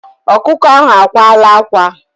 Ọkụkọ ahụ akwala ákwá.